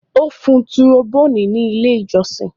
Ó fun tùròbóònì ní ilé-ìjọsìn.